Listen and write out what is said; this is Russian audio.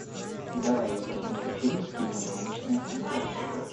давай я посмотрю фильм типа научная фантастика